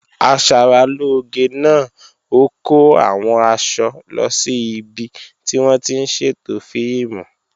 Asaralóge náà ó kó àwọn aṣọ lọ sí ibi tí wọ́n ti ń ṣètò fíìmù